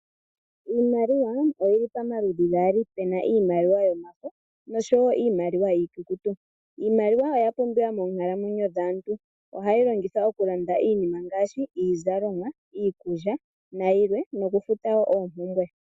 Iimaliwa oyili pamaludhi gaali, pena iimaliwa yomafo nosho iimaliwa iikukutu. Iimaliwa oya pumbiwa moonkalamwenyo dhaantu. Ohayi longithwa okulanda iinima ngaashi iizalomwa, iikulya nayilwe nokufuta wo oompumbwe.